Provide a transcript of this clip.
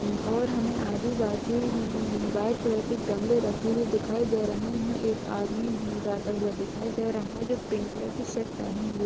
उ और हमें आजू-बाजु अमम वाइट कलर के गमलें रखे हुए दिखाई दे रहे हैं। एक आदमी हमें जाता हुआ दिखाई दे रहा है जो पिंक कलर की शर्ट पहने हुए --